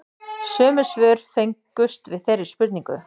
Sömu svör fengust við þeirri spurningu